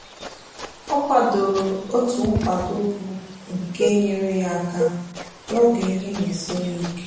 ọ kwadoro otu nkwado bụ nke nyeere ya aka n'oge ihe na-esiri ya ike.